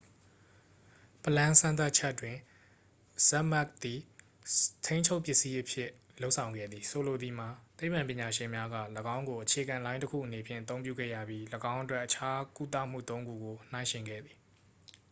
ပလမ်း စမ်းသပ်ချက်တွင် ဇက်မက်ပ် သည် ထိန်းချုပ်ပစ္စည်းအဖြစ် လုပ်ဆောင်ခဲ့သည် ဆိုလိုသည်မှာ သိပ္ပံပညာရှင်များက ၎င်းကို အခြေခံလိုင်းတစ်ခုအနေဖြင့် အသုံးပြုခဲ့ရပြီး ၎င်းအတွက် အခြားကုသမှုသုံးခုကို နှိုင်းယှဉ်ခဲ့သည်